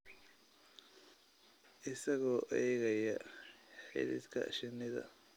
Isagoo eegaya xididka shinnida.